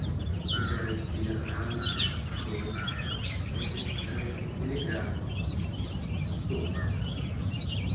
ты говоришь телеграм что это говорится телеграм что